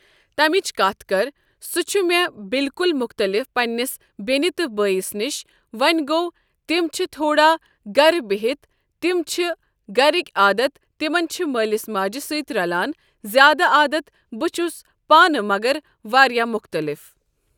تمِچ کتھ کرٕ سُہ چھُ مےٚ بالکُل مختٔلِف پننِس بیٚنہِ تہٕ بٲیِس نِش وۄنۍ گٚوو تِم چھِ تھوڑا گرِ بہتھی تِمن چھِ گرِکی عادت تِمن چھِ مٲلس ماجہِ سۭتی رلان زیادٕ عادت بہٕ چھُس پانہٕ مگر واریاہ مختٔلِف۔